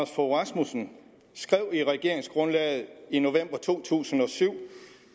fogh rasmussen skrev i regeringsgrundlaget i november to tusind og syv